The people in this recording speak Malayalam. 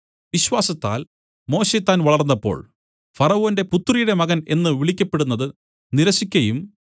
വിശ്വാസത്താൽ മോശെ താൻ വളർന്നപ്പോൾ ഫറവോന്റെ പുത്രിയുടെ മകൻ എന്നു വിളിക്കപ്പെടുന്നതു നിരസിക്കയും